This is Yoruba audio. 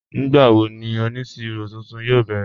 Nígbàwó ní onísíró tuntun yóò bẹrẹ̀?